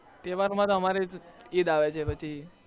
તહેવાર માં અમારે ઈદ આવે છે પછી